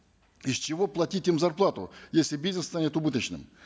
из чего платить им зарплату если бизнес станет убыточным